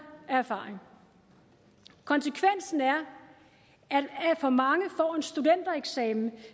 af erfaring konsekvensen er at for mange får en studentereksamen